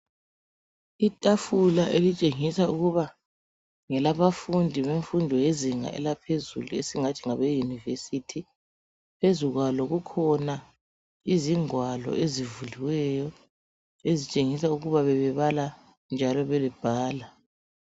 Itafula elitshengisa ukuba ngelabafundi bemfundo yezinga elaphezulu esingathi ngabeyunivesithi, phezu kwalo kukhona izingwalo ezivuliweyo ezitshengisa ukuba bebebala njalo bebebhala.